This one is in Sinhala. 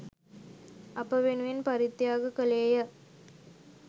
අප වෙනුවෙන් පරිත්‍යාග කළේය.